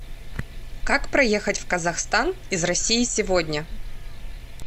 как проехать в казахстан из россии сегодня